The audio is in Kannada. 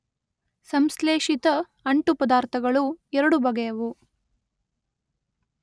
ಸಂಶ್ಲೇಷಿತ ಅಂಟುಪದಾರ್ಥಗಳು ಎರಡು ಬಗೆಯವು.